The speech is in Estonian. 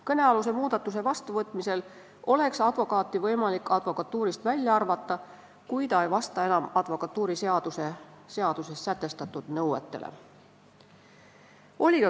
Kõnealuse muudatuse vastuvõtmisel oleks advokaati võimalik advokatuurist välja arvata, kui ta ei vasta enam advokatuuriseaduses sätestatud nõuetele.